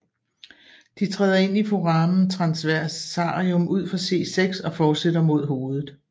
De træder ind i foramen transversarium ud for C6 og fortsætter mod hovedet